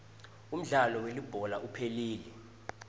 umdlalo welibhola uphelile